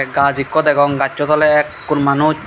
gaj ekku degong gachut ole ekkur manuj.